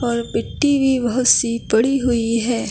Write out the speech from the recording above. और मिट्टी भी बहुत सी पड़ी हुई है।